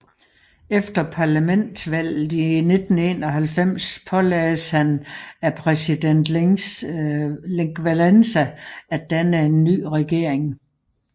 Efter parlamentsvalget i 1991 pålagdes han af præsident Lech Wałęsa at danne en ny regering